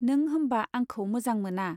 नों होम्बा आंखौ मोजां मोना ?